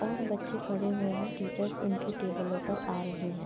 और बच्चे खड़े हुए हैं । टीचर्स उनकी टेबलों पर आ रही हैं ।